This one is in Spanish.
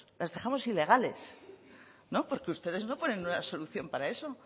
las dejamos ilegales no porque ustedes no ponen una solución para eso